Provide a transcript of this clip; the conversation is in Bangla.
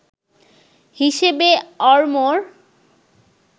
হিসেবে অরমোর